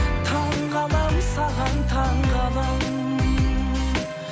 таңғаламын саған таңғаламын